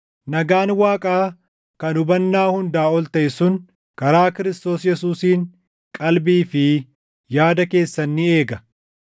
Nagaan Waaqaa kan hubannaa hundaa ol taʼe sun karaa Kiristoos Yesuusiin qalbii fi yaada keessan ni eega.